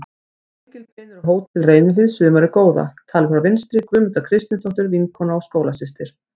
Gengilbeinur á Hótel Reynihlíð sumarið góða, talið frá vinstri: Guðmunda Kristinsdóttir, vinkona og skólasystir